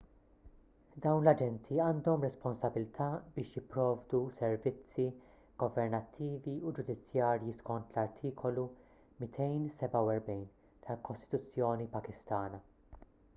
dawn l-aġenti għandhom responsabbiltà biex jipprovdu servizzi governattivi u ġudizzjarji skont l-artikolu 247 tal-kostituzzjoni pakistana